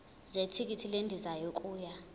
zethikithi lendiza yokuya